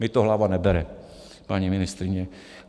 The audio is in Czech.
Mně to hlava nebere, paní ministryně.